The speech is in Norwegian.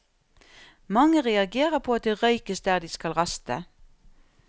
Mange reagerer på at det røykes der de skal raste.